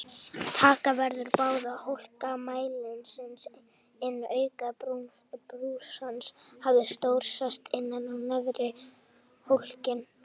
Taka verður báða hólka mælisins inn auk brúsans hafi snjór sest innan á neðri hólkinn.